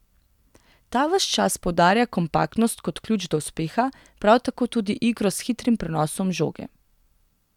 Ta ves čas poudarja kompaktnost kot ključ do uspeha, prav tako tudi igro s hitrim prenosom žoge.